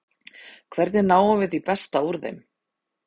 Hvernig náum við því besta úr þeim?